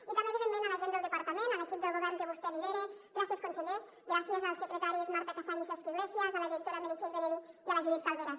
i també evidentment a la gent del departament a l’equip del govern que vostè lidera gràcies conseller gràcies als secretaris marta cassany i cesc iglesias a la directora meritxell benedí i a la judit calveras